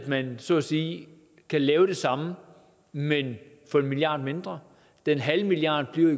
man så at sige kan lave det samme men for en milliard mindre en halv milliard bliver